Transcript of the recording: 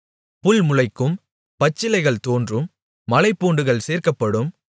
புல் முளைக்கும் பச்சிலைகள் தோன்றும் மலைப்பூண்டுகள் சேர்க்கப்படும்